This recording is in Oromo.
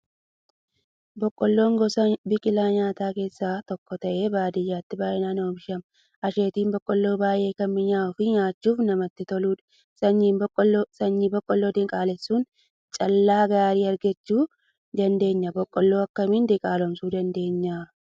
Boqqoolloon gosa biqilaa nyaataa keessaa tokko ta'ee baadiyyaatti baay'inaan oomishama. Asheetni boqqoolloo baay'ee kan mi'aawuu fi nyaachuuf namatti toludha. Sanyii boqqoolloo diqaalessuun callaa gaarii argachuu dandeenya. Boqqoolloo akkamiin diqaalomsuu dandeenya?